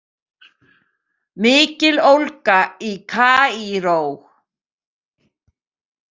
Mikil ólga í Kaíró